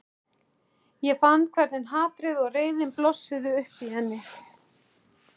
Ég fann hvernig hatrið og reiðin blossuðu upp í henni.